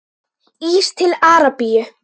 Ís til Arabíu?